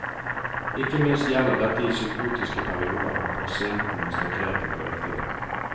Ikke minst gjelder dette i psykotiske perioder, når pasienten mister grepet på virkeligheten.